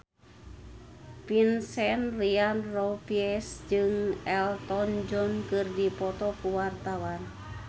Vincent Ryan Rompies jeung Elton John keur dipoto ku wartawan